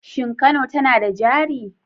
Shin Kano tana da jari?